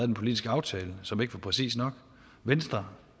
den politiske aftale som ikke var præcis nok venstre